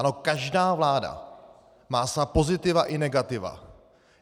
Ano, každá vláda má svá pozitiva i negativa.